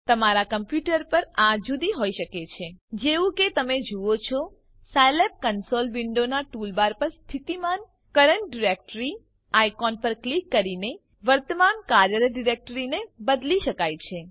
તમારા કમ્પ્યુટર પર આ જુદી હોઈ શકે છે જેવું કે તમે જુઓ છો સાયલેબ કન્સોલ વિન્ડોનાં ટૂલબાર પર સ્થિતિમાન કરન્ટ ડાયરેક્ટરી આઇકોન પર ક્લિક કરીને વર્તમાન કાર્યરત ડિરેક્ટરીને બદલી શકાય છે